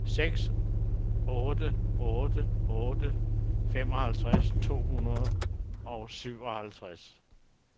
seks otte otte otte femoghalvfjerds to hundrede og syvoghalvtreds